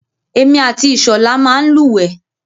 Èmi àti Ìṣọ̀lá máa ń lúwẹ̀ẹ́.